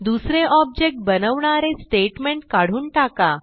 दुसरे ऑब्जेक्ट बनवणारे स्टेटमेंट काढून टाका